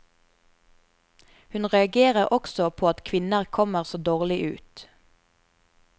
Hun reagerer også på at kvinner kommer så dårlig ut.